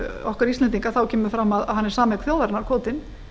okkar íslendinga kemur fram að hann er sameign þjóðarinnar kvótinn